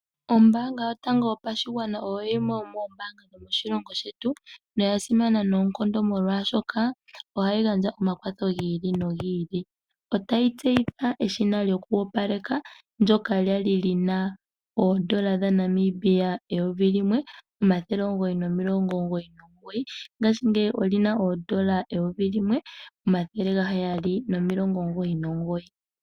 Ombaanga yotango yopashigwana oyo yimwe yomoombaanga dhomoshilongo shetu, noya simana noonkondo molwashoka ohayi gandja omakwatho gi ili nogi ili. Otayi tseyitha eshina lyokoopaleka ndyoka lya li li na N$ 1 999, ngashingeyi oli na N$ 1 799.